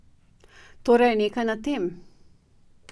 Torej je nekaj na tem?